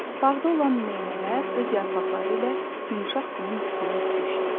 Bağda olan meinələr öz yarpaqları ilə yumşaq qumun üstünü örtmüşdü.